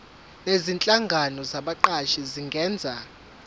nezinhlangano zabaqashi zingenza